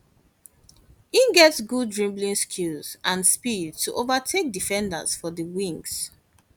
e get good dribbling skills and speed to overtake defenders for di wings